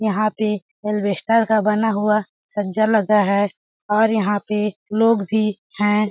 यहाँ पे एल्वेस्टर का बना हुआ सज्जा लगा है और यहां पे लोग भी हैं।